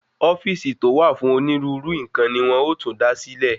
Ofíìsì to wà fún onírúurú nkan ni wón ọ tún dá sílẹ̀